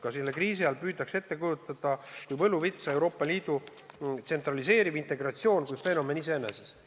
Ka selle kriisi ajal kujutatakse seda kui võluvitsa, Euroopa Liidu tsentraliseeriv integratsioon on justkui fenomen iseeneses.